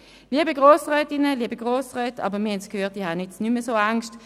Wir haben es gehört, und es macht mir jetzt nicht mehr so Angst.